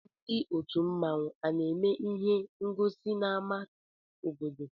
Ndị òtù mmanwu ana-eme ịhé ngosi n'áma obodo?